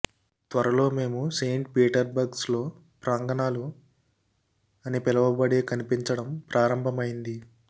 త్వరలో మేము Saint Petersburg లో ప్రాంగణాలు అని పిలవబడే కనిపించడం ప్రారంభమైంది